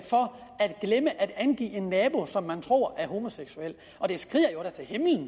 glemme at angive en nabo som man tror er homoseksuel det skriger